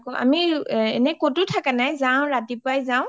আমি এনে ক’তো থাকা নাই যাও ৰাতিপুৱাই যাও